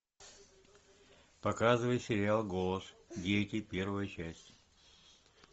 показывай сериал голос дети первая часть